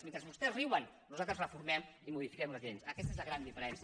mentre vostès riuen nosaltres reformem i modifiquem les lleis aquesta és la gran diferència